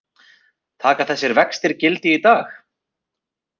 Taka þessir vextir gildi í dag